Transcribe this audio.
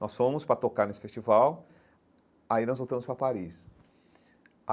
Nós fomos para tocar nesse festival, aí nós voltamos para Paris.